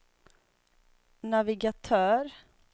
navigatör